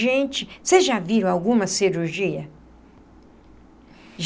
Gente, vocês já viram alguma cirurgia?